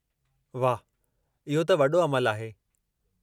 वाह, इहो त वॾो अमलु आहे।